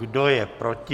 Kdo je proti?